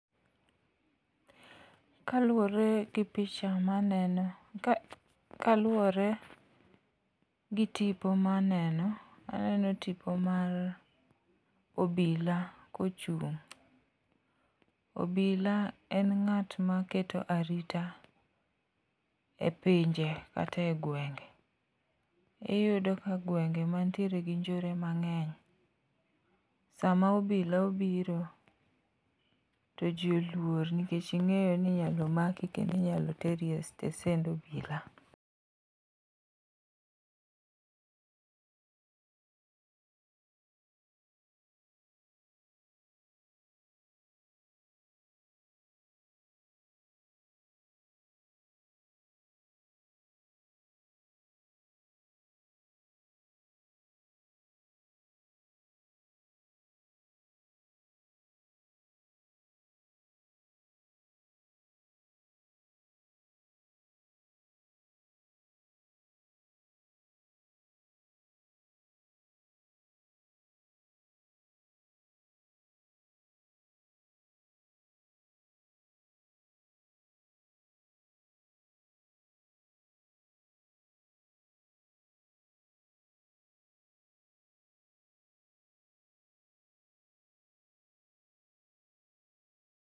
Kaluwore gi tipo maneno, taneno tipo mar obila kochung'obila en ng'at maketo arita e pinje kata e gwenge, iyudo ka gwenge manitiere gi njore mang'eny, sama obila obiro, to ji olwor nikech ing'eyo ni inyalo maki kendo inyalo teri e stesende obila.